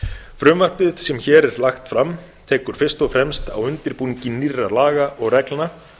frumvarpið sem hér er lagt fram tekur fyrst og fremst á undirbúningi nýrra laga og reglna